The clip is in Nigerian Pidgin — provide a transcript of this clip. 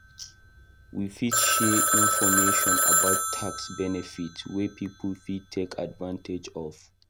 We fit share information about tax benefits wey people fit take advantage of.